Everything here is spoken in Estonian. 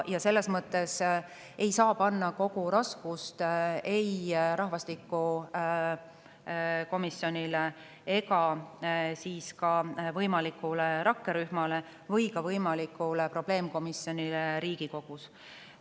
Selles mõttes ei saa panna kogu raskust ei rahvastikukomisjonile ega ka võimalikule rakkerühmale või võimalikule probleemkomisjonile Riigikogus.